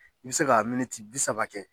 Bi se ka miniti bi saba kɛ